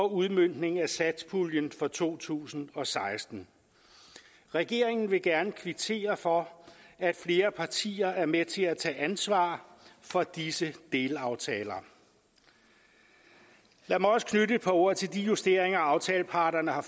udmøntning af satspuljen for to tusind og seksten regeringen vil gerne kvittere for at flere partier er med til at tage ansvar for disse delaftaler lad mig også knytte et par ord til de justeringer aftaleparterne har